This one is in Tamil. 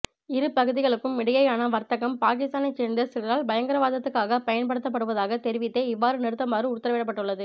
இரு பகுதிகளுக்கும் இடையேயான வர்த்தகம் பாகிஸ்தானைச் சேர்ந்த சிலரால் பயங்கரவாதத்துக்காகப் பயன்படுத்தப்படுவதாக தெரிவித் தே இவ்வாறு நிறுத்துமாறு உத்தரவிடப்பட்டுள்ளது